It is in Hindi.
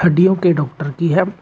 हड्डियों के डॉक्टर की है।